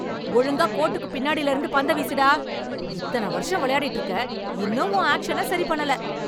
ஒழுங்கா கோட்டுக்குப் பின்னாடில இருந்து பந்த வீசு டா! இத்தன வருஷம் விளையாடிட்டு இருக்க. இன்னும் உன் ஆக்ஷன சரி பண்ணல!